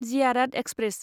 Ziyarat express